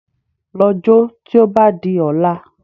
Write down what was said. Lọ jó tí ó bá di ọ̀la